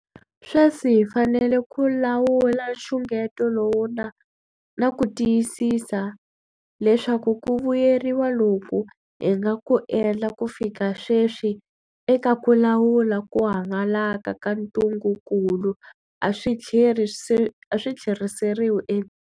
Swesi hi fanele ku lawula nxungeto lowu na ku tiyisisa leswaku ku vuyeriwa loku hi nga ku endla ku fika sweswi eka ku lawula ku hangalaka ka ntungukulu a swi tlheriseriwi e.